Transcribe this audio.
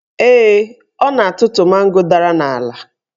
Ee, ọ na-atụtụ mango dara n'ala